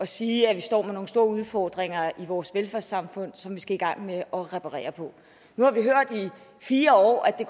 sige at vi står med nogle store udfordringer i vores velfærdssamfund som vi skal i gang med at reparere på nu har vi hørt i fire år at det